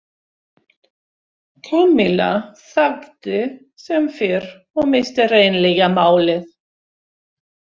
Kamilla þagði sem fyrr og missti hreinlega málið.